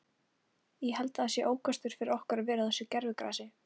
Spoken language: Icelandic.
Ég held að það sé ókostur fyrir okkur að vera á þessu gervigrasi.